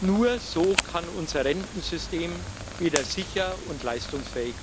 Nur so kann unser Rentensystem wieder sicher und leistungsfähig werden.